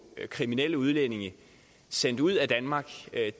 kriminelle udlændinge sendt ud af danmark